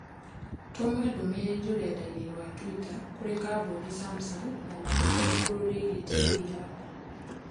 Tũma ndũmĩrĩri rũrenda-inī rũa tũita kũrĩ kambũni Samsung ya mateta igũrũ rĩgiĩ TV yakwa